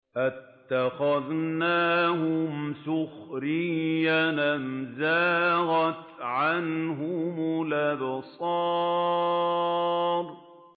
أَتَّخَذْنَاهُمْ سِخْرِيًّا أَمْ زَاغَتْ عَنْهُمُ الْأَبْصَارُ